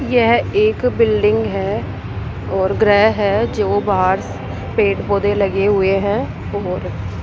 यह एक बिल्डिंग है और ग्रह है जो बाहर पेड़ पौधे लगे हुए हैं और --